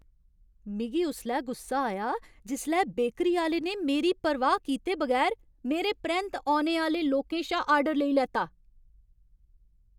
मिगी उसलै गुस्सा आया जिसलै बेकरी आह्‌ले ने मेरी परवाह् कीते बगैर मेरे परैंत्त औने आह्‌ले लोकें शा आर्डर लेई लैता ।